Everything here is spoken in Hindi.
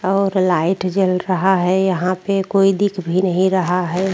और लाइट जल रहा है यहाँ पे कोई दिख भी नही रहा है।